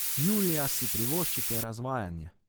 Julija si privoščite razvajanje.